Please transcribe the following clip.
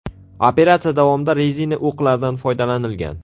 Operatsiya davomida rezina o‘qlardan foydalanilgan.